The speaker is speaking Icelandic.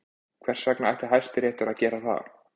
Hvers vegna ætti Hæstiréttur að gera það?